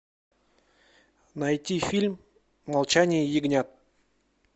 найти фильм молчание ягнят